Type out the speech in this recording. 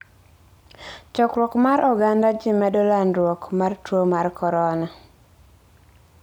Chokruok mar oganda ji medo landruok mar tuo mar corona.